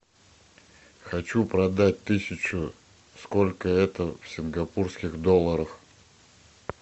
хочу продать тысячу сколько это в сингапурских долларах